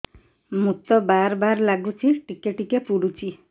ମୁତ ବାର୍ ବାର୍ ଲାଗୁଚି ଟିକେ ଟିକେ ପୁଡୁଚି